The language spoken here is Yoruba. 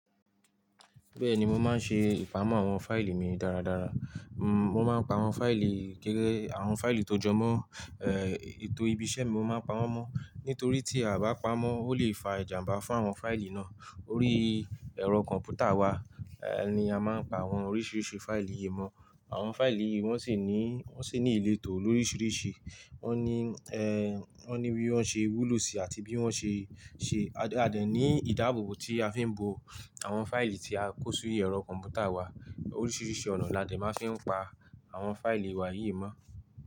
Bẹ́ẹ̀ni mo máa ń ṣe ìpamọ́ àwọn fáìlì mi dáradára. Mo máa ń pa àwọn fáìlì gẹ́gẹ́ àwọn fáìlì tó jọmọ́. Ètò ibi iṣẹ́ mi mo máa ń pamọ́ mọ́. Nítorí tí a bá pamọ́ ó lè fa ìjàmbá fún àwọn fáìlì náà. Orí ẹ̀rọ kọ̀m̀pútà wa ni a máa ń pa àwọn oríṣiríṣi fáìlì yìí mọ́. Àwọn fáìlì yìí wọ́n sì ní, wọ́n sì ní ìletò loríṣiríṣi. Wọ́n ní, wọ́n ní bí wọ́n ṣe wúlò sí àti bí wọ́n ṣe ṣe. A dẹ̀ ní ìdáàbòbò tí a fi ń bo àwọn fáìlì tí a kó sí orí ẹ̀rọ kọ̀m̀pútà wa. Oríṣiríṣi ọ̀nà la dẹ̀ máa ń fi pa àwọn fáìlì wa yìí mọ́.